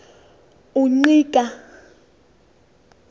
ungqika